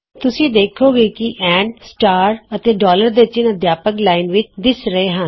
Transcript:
ਤੁਸੀਂ ਵੇੱਖੋਂਗੇ ਕਿ ਏਐਮਪੀ ਅਤੇ ਦੇ ਚਿੰਨ੍ਹ ਅਧਿਆਪਕ ਲਾਈਨ ਵਿਚ ਦਿਸ ਰਹੇ ਹਨ